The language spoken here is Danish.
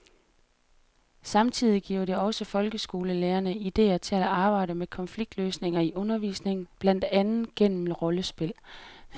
Samtidig giver det også folkeskolelærerne idéer til at arbejde med konfliktløsning i undervisningen, blandt andet gennem rollespil.